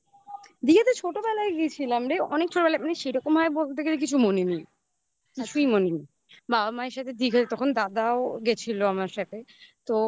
দীঘা তো ছোটবেলায় গেছিলাম রে. অনেক ছোটবেলায় মানে সেরকম ভাবে বলতে গেলে কিছু মনে নেই. কিছুই মনে নেই। বাবা মায়ের সাথে তখন দাদাও গেছিল আমার সাথে